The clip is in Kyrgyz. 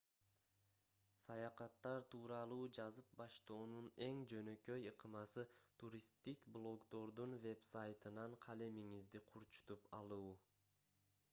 саякаттар тууралуу жазып баштоонун эң жөнөкөй ыкмасы туристтик блогдордун вебсайтынан калемиңизди курчутуп алуу